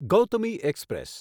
Gautami express